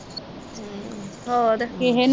ਹੋਰ